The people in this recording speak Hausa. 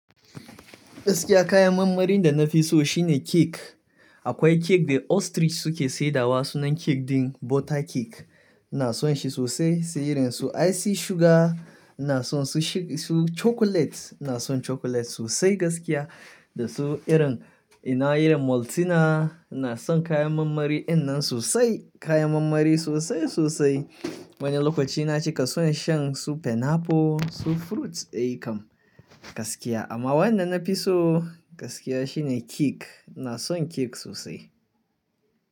Gaskiya kayan marmarin da na fi so shine cake. Akwai cake da ostrich suke saidawa sunan cake din butter cake. Na son shi sosai. Sai irin su icy sugar, na son su chocolate, na son chocolate sosai gaskiya da su irin ina irin Maltina Inason kayan mammari innan sosai, kayan mammari sosai sosai. Wani lokaci na cika son shan su pineapple, su fruits ai kam, gaskiya. Amma wanda na fi so gaskiya shine cake. Na son cake sosai.